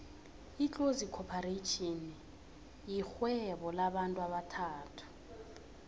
itlozi khopharetjhini yirhvuebo lamabantu abathathu